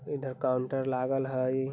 इधर काउंटर लागल हाई।